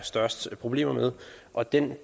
største problemer med og det er en